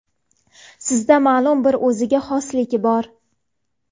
Sizda ma’lum bir o‘ziga xoslik bor.